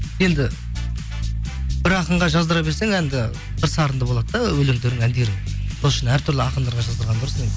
енді бір ақынға жаздыра берсең әнді бір сарында болады да өлеңдерің әндерің сол үшін әртүрлі ақындарға жаздырған дұрыс